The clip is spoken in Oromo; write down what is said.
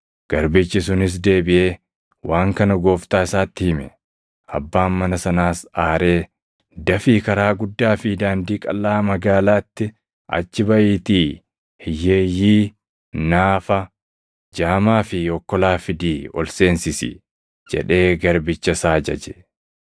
“Garbichi sunis deebiʼee waan kana gooftaa isaatti hime. Abbaan mana sanaas aaree, ‘Dafii karaa guddaa fi daandii qalʼaa magaalaatti achi baʼiitii hiyyeeyyii, naafa, jaamaa fi okkolaa fidii ol seensis’ jedhee garbicha isaa ajaje.